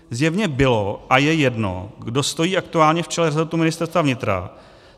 Zjevně bylo a je jedno, kdo stojí aktuálně v čele resortu Ministerstva vnitra.